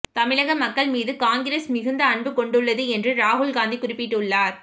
தமிழக மக்கள் மீது காங்கிரஸ் மிகுந்த அன்பு கொண்டுள்ளது என்று ராகுல் காந்தி குறிப்பிட்டுள்ளார்